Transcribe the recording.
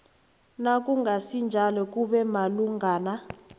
nakungasinjalo kube malungana